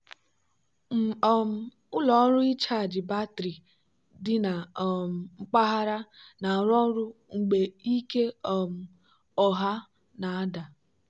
um ụlọ ọrụ ịchaji batrị dị na um mpaghara na-arụ ọrụ mgbe ike um ọha na-ada.